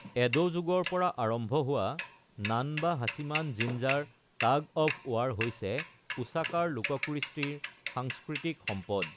Ado যুগৰ পৰা আৰম্ভ হোৱা Namba Hachiman Jinja tug of war হৈছে ওছাকাৰ লোককৃষ্টিৰ সাংস্কৃতিক সম্পদ।